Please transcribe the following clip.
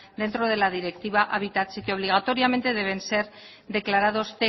dentro de la directiva hábitat y que obligatoriamente deben ser declarados